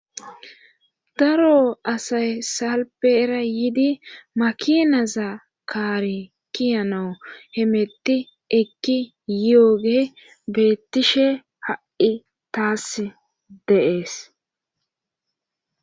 daro asay salpeera yidi makinaza kaari kiyanawu hemetti ekki yooge beettishe ha7i taas de'ees